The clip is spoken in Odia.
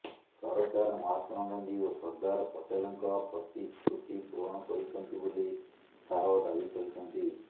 ସରକାର ମହାତ୍ମା ଗାନ୍ଧି ଓ ସର୍ଦ୍ଦାର ପଟେଲଙ୍କ ପ୍ରତିଶ୍ରୁତି ପୂରଣ କରିଛନ୍ତି ବୋଲି ଶାହ ଦାବି କରିଛନ୍ତି